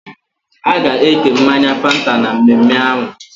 Aga eke mmanya Fanta na mmemme ahum